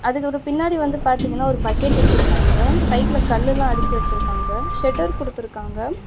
அதுக்கு ஒரு பின்னாடி வந்து பாத்திங்கன்னா ஒரு பக்கெட் வெச்சிருக்காங்க. சைடுல கல்லுலா அடுக்கி வெச்சிருக்காங்க. ஷட்டர் குடுத்துருக்காங்க.